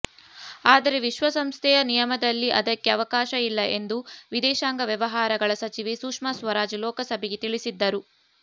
ಆದರೆ ವಿಶ್ವಸಂಸ್ಥೆಯ ನಿಯಮದಲ್ಲಿ ಅದಕ್ಕೆ ಅವಕಾಶ ಇಲ್ಲ ಎಂದು ವಿದೇಶಾಂಗ ವ್ಯವಹಾರಗಳ ಸಚಿವೆ ಸುಷ್ಮಾ ಸ್ವರಾಜ್ ಲೋಕಸಭೆಗೆ ತಿಳಿಸಿದ್ದರು